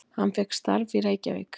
Hann fékk starf í Reykjavík.